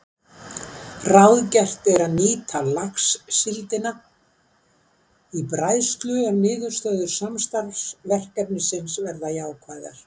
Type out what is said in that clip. Ráðgert er að nýta laxsíldina í bræðslu ef niðurstöður samstarfsverkefnisins verða jákvæðar.